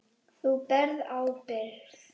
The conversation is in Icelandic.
Þú berð ábyrgð.